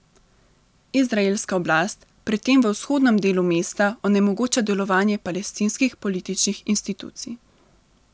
Izraelska oblast pri tem v vzhodnem delu mesta onemogoča delovanje palestinskih političnih institucij.